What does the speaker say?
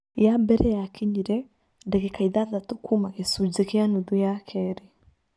Ya mbere yakinyire, ndagĩka ithathatũ kuuma gĩcunjĩ gĩa nuthu ya kerĩ.